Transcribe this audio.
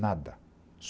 Nada.